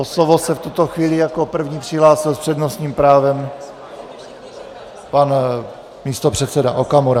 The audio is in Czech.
O slovo se v tuto chvíli jako první přihlásil s přednostním právem pan místopředseda Okamura.